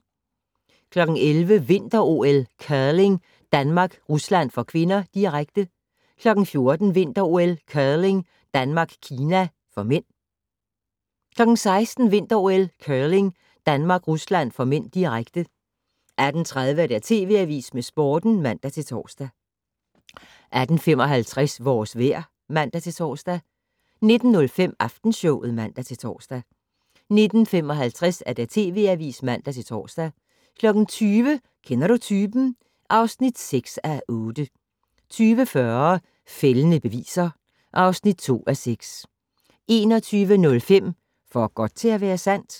11:00: Vinter-OL: Curling - Danmark-Rusland (k), direkte 14:00: Vinter-OL: Curling - Danmark-Kina (m) 16:00: Vinter-OL: Curling - Danmark-Rusland (m), direkte 18:30: TV Avisen med Sporten (man-tor) 18:55: Vores vejr (man-tor) 19:05: Aftenshowet (man-tor) 19:55: TV Avisen (man-tor) 20:00: Kender du typen? (6:8) 20:40: Fældende beviser (2:6) 21:05: For godt til at være sandt?